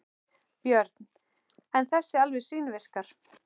Björn: En þessi alveg svínvirkar?